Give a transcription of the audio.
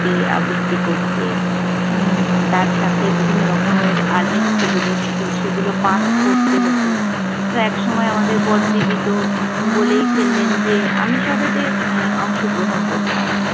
আবৃত্তি করতে, উম তার সাথে বিভিন্নরকমের আলেখ্যগুলো ছিল সেগুলো পাঠ করতে হত। একসময় আমাদের বড়দিদি তো বলেই ফেললেন যে আমি সবেতে অংশগ্রহণ করতাম